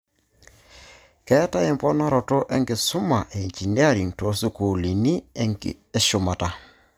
Keetai emponorato enkisuma engineering toosukuulini eshumata .